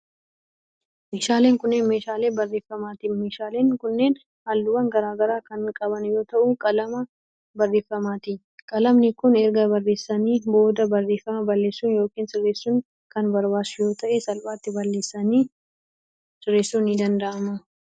Meeshaaleen kunneen, meeshaalee barreeffamaati. Meeshaaleen kunneen, haalluuwwan garaa garaa kan qaban yoo ta'u ,qalama barreeffamaati. Qalamni kun, erga barreessanii booda barreeffama balleessuun yokin sirreessuun kan barbaachisu yoo ta'e salphaatti balleessanii sirreessuun ni danda'ama.